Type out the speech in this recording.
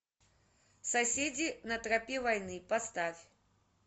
соседи на тропе войны поставь